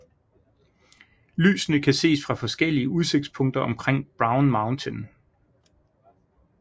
Lysene kan ses fra forskellige udsigtspunkter omkring Brown Mountain